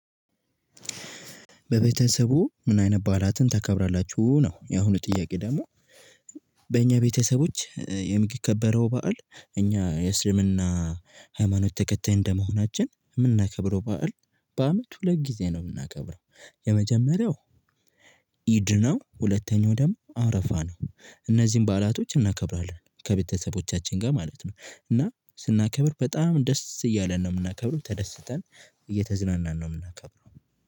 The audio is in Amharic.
በቤተሰቡ ምን አይነት ባዕላትን ታከብራላችሁ ነው የአሁኑ ጥያቄ ደግሞ? በእኛ ቤተሰቦች የሚከበረው በዓል እኛ የእስልምና ሃይማኖት ተከታይ እንደመሆናችን የምናከብረው በዓል በአመት ሁለት ጊዜ ነው የምናከብረው። የመጀመሪያው ኢድ ነው ሁለተኛው ደግሞ አረፋ ነው። እነዚህን ባዕላቶች እናከብራለን ከቤተሰቦቻችን ጋር ማለት ነው። እና ስናከብር በጣም ደስ እያለን ነው የምናከብረው ተደስተን እየተዝናናን ነው የምናከብረው።